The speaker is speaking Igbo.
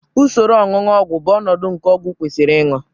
usoro onunu ogwu bụ ọnọdụ nke ọgwụ kwesịrị ịṅụ